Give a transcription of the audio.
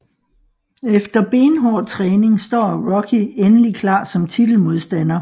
Efter benhård træning står Rocky endelig klar som titelmodstander